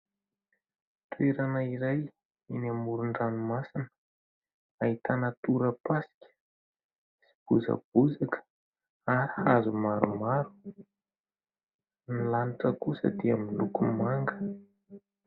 Toerana iray eny amoron-dranomasina ahitana torapasika sy bozabozaka ary hazo maromaro. Ny lanitra kosa dia miloko manga.